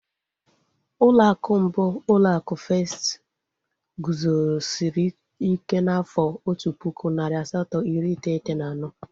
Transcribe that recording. Ụlọ akụ mbụ, ụlọ akụ Festi guzosiri ike n'afọ otu pụkụ, narị asatọ iri iteghete na anọ